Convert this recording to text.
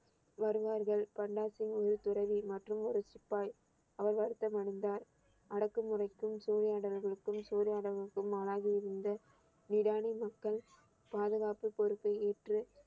வருவார்கள் பண்டா சிங் ஒரு துறவி மற்றும் ஒரு சிப்பாய் அவர் வருத்தம் அடைந்தார் அடக்குமுறைக்கும் சூறையாடல்களுக்கும் சூறையாடலுக்கும் ஆளாகி இருந்த விடானி மக்கள் பாதுகாப்பு பொறுப்பை ஏற்று